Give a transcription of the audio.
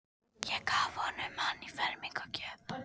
Ég gaf honum hann í fermingargjöf.